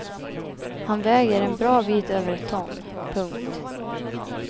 Han väger en bra bit över ett ton. punkt